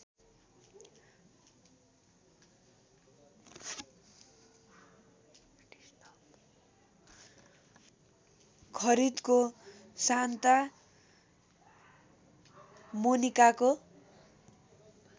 खरिदको Santa मोनिकाको